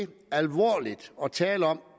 tale om